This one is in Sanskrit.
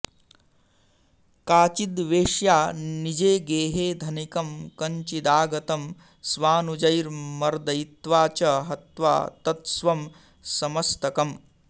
काचिद्वेश्या निजे गेहे धनिकं कञ्चिदागतम् स्वानुजैर्मर्दयित्वा च हत्वा तत्स्वं समस्तकम्